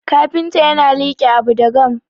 kafinta yana like Abu da gama